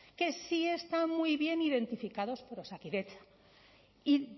que sí están muy bien identificados por osakidetza y